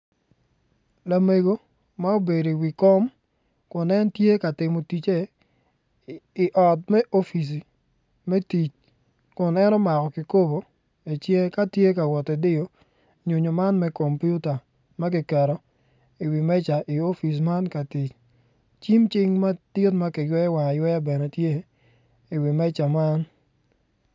Lamego ma obedo i wi kom kun en tye ka timo tice i ot me opic me tic kun en omako ki kobo icinge tye ka wot ki diyo nyo nyo man me komputa ma kiketo i wi meja i opic man ka tic cing cim madit ma kiyweyo wange ayweya iwi meca man bene tye